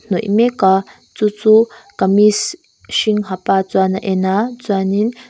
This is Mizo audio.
hnawih mek a chu chu kamis hring ha pa chuan a en a chuan in--